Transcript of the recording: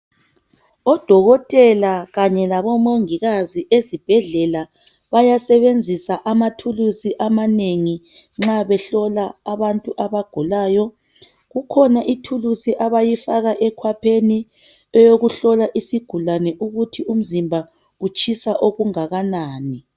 Odokotela kanye labomongikazi ezibhedlela bayasebenzisa amathulusi amanengi nxa behlola abantu abagulayo kukhona ithulusi abayifaka ekhwapheni eyokuhlola isigulani ukuthi umzimba utshisa okungakanani